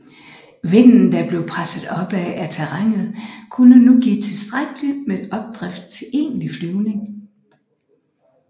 Vinden der blev presset opad af terrænet kunne nu give tilstrækkeligt med opdrift til egentlig flyvning